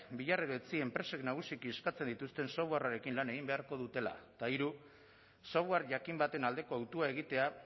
bihar edo etzi enpresek nagusiki eskatzen dituzten softwarearekin lan egin beharko dutela eta hiru software jakin baten aldeko hautua egitea